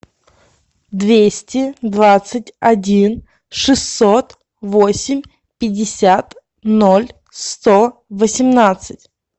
двести двадцать один шестьсот восемь пятьдесят ноль сто восемнадцать